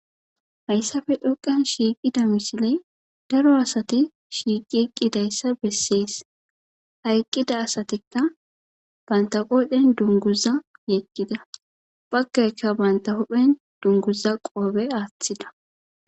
hayssafe dhoqan shiiqida misiley daro asati shiiqi eqqidayssa bessees hayqqida asatikka banta qoodhen dunguza yeqkida bakkayka banta hudhen dunguza qoobe aaththida